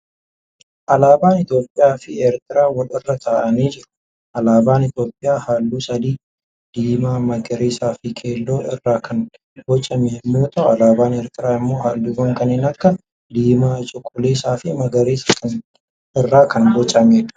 Alaabaan Itiyoophiyaa fi Ertiraa wal irra taa'anii jiru. Alaabaan Itiyoophiyaa halluu sadii diimaa, magariisa fi keelloo irraa kan bocame yemmuu ta'u alaabaan Eertiraa immoo halluuwwan kanneen akka diimaa, cuquliisa fi magariisa irraa kan bocameedha.